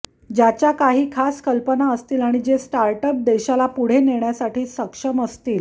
ज्याच्या काही खास कल्पना असतील आणि जे स्टार्टअप देशाला पुढे नेण्यासाठी सक्षम असतील